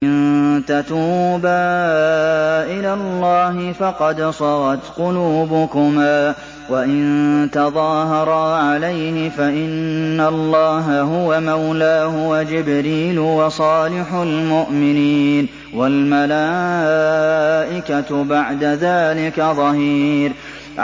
إِن تَتُوبَا إِلَى اللَّهِ فَقَدْ صَغَتْ قُلُوبُكُمَا ۖ وَإِن تَظَاهَرَا عَلَيْهِ فَإِنَّ اللَّهَ هُوَ مَوْلَاهُ وَجِبْرِيلُ وَصَالِحُ الْمُؤْمِنِينَ ۖ وَالْمَلَائِكَةُ بَعْدَ ذَٰلِكَ ظَهِيرٌ